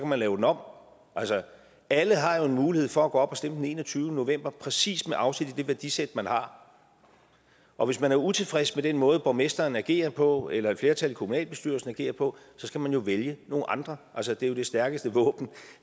man lave det om altså alle har jo en mulighed for at gå op og stemme den enogtyvende november præcis med afsæt i det værdisæt man har og hvis man er utilfreds med den måde borgmesteren agerer på eller et flertal i kommunalbestyrelsen agerer på skal man vælge nogle andre altså det er jo det stærkeste våben